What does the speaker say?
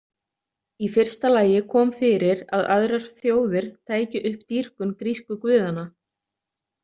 Í fyrsta lagi kom fyrir að aðrar þjóðir tækju upp dýrkun grísku guðanna.